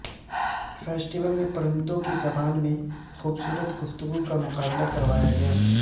festival میں پرندوں کی زبان میں خوبصورت گفتگو کا مقابلہ کروایا گیا